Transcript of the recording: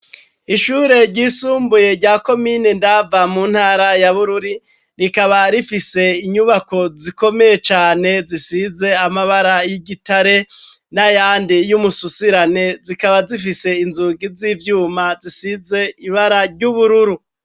Ishure ryisumbuye rya komine Ndava mu ntara ya Bururi, rikaba rifise inyubako zikomeye cane zisize amabara y'igitare, n'ayandi y'umususirane zikaba zifise inzungi z'ivyuma zisize ibara ry'ubururu.